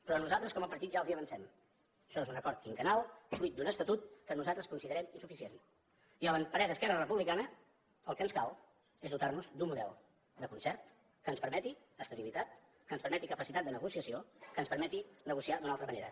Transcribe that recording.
però nosaltres com a partit ja els ho avancem això és acord quinquennal fruit d’un estatut que nosaltres considerem insuficient i a parer d’esquerra republicana el que ens cal és dotar nos d’un model de concert que ens permeti estabilitat que ens permeti capacitat de negociació que ens permeti negociar d’una altra manera